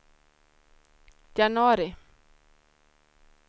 januari